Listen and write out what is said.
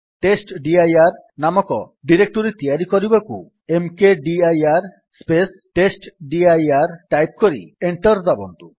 ଟେଷ୍ଟଡିର ନାମକ ଡିରେକ୍ଟୋରୀ ତିଆରି କରିବାକୁ ମକଦିର ସ୍ପେସ୍ ଟେଷ୍ଟଡିର ଟାଇପ୍ କରି ଏଣ୍ଟର୍ ଦାବନ୍ତୁ